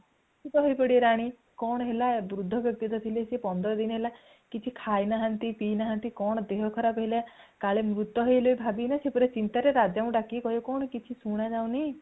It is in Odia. ତ ବ୍ୟସ୍ତ ହେଇ ପଡିବେ ରାଣୀ କଣ ହେଲା ବୃଦ୍ଧ ବ୍ୟକ୍ତି ଯିଏ ଥିଲେ ପନ୍ଦର ଦିନ ହେଲା କିଛି ଖାଇ ନାହାନ୍ତି ପିଇ ନାହାନ୍ତି କଣ ଦେହ ଖରାପ ହେଇଗଲା କାଳେ ସିଏ ମୃତ ହେଇଗଲେ ଭାବି କିନା ସିଏ ପୁରା ଚିନ୍ତା ରେ ରାଜାଙ୍କୁ ଡାକିକି କହିବେ କଣ କିଛି ଶୁଣା ଯାଉନି